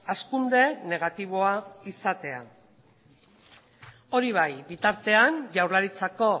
hazkunde negatiboa izatea hori bai bitartean jaurlaritzako